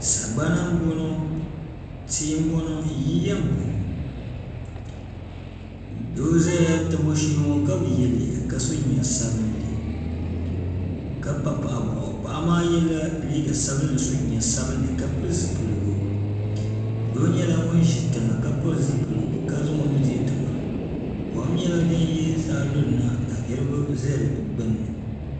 sagbana n boŋo tia n boŋo yiya n boŋo doo ʒɛya tabi o shee ka bi yɛ liiga ka so jinjɛm sabinli ka pa paɣa boɣu paɣa maa yɛla liiga sabinli so jinjɛm sabinli ka pili zipiligu doo nyɛla ŋun ʒi tiŋa ka zaŋ o nuhi dihi zuɣusaa ka pili zipiligu kom nyɛla din yiri zuɣusaa lurina ka niraba ʒi di gbunni